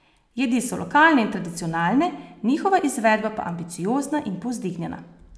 Jedi so lokalne in tradicionalne, njihova izvedba pa ambiciozna in povzdignjena.